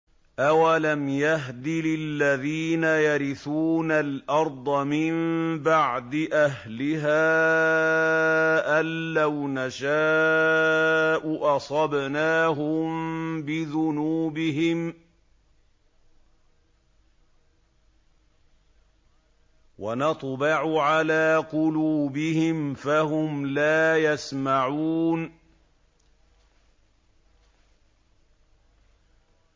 أَوَلَمْ يَهْدِ لِلَّذِينَ يَرِثُونَ الْأَرْضَ مِن بَعْدِ أَهْلِهَا أَن لَّوْ نَشَاءُ أَصَبْنَاهُم بِذُنُوبِهِمْ ۚ وَنَطْبَعُ عَلَىٰ قُلُوبِهِمْ فَهُمْ لَا يَسْمَعُونَ